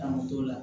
An t'o la